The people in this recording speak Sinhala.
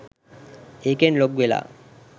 ඒකෙන් ලොග් වෙලා